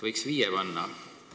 Võiks viie panna.